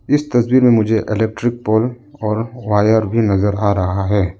इस तस्वीर में मुझे इलेक्ट्रिक पोल और वायर भी नजर आ रहा है।